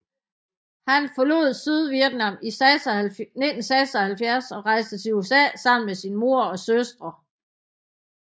Han forlod Sydvietnam i 1976 og rejste til USA sammen med sin mor og søstre